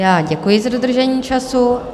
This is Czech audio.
Já děkuji za dodržení času.